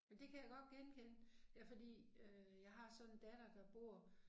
Men det kan jeg godt genkende. Ja fordi øh jeg har sådan en datter der bor